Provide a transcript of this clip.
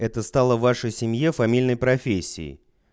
это стало вашей семье фамильной профессии